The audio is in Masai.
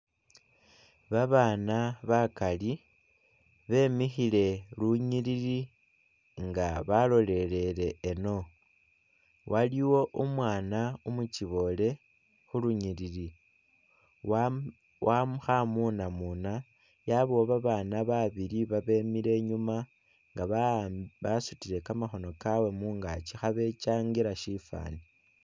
Babana bakali bemikhile lunyilili nga balolelele eno waliwo umwana umukyibole khulunyilili wa wa khamunamuna wabawo babana babili babemile inyuma nga basutile kamakhono kabwe mungakyi khabekyangila sifani